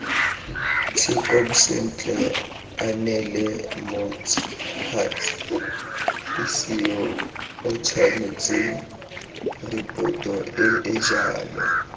tshekong sentle aneelemots huts hisiyootshwanetsengripotoeejalo